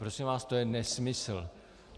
Prosím vás, to je nesmysl.